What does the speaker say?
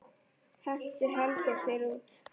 Henti Halldór þér út?